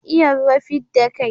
Iya ruwa fidda kai